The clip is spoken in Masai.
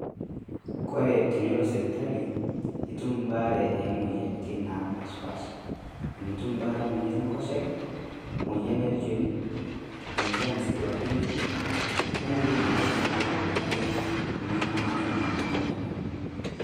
Kore tenilo sipitali naa kitum ebaare oo moyiaritin napaasha paasha amu etum ebaare emoyian Enkoshoke, emoyian olnchoni, emoyian sii duake enkue, onkulie moyiaritin pooki nitumo naake oltung'ani.